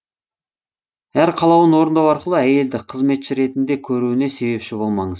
әр қалауын орындау арқылы әйелді қызметші ретінде көруіне себепші болмаңыз